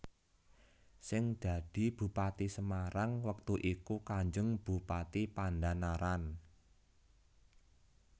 Sing dadi Bupati Semarang wektu iku Kanjeng Bupati Pandhanaran